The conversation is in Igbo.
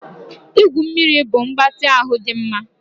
Igwu mmiri bụ mgbatị ahụ dị mma